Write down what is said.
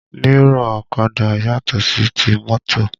Mírọ̀ ọ̀kadà yàtò sí ti mọ́tò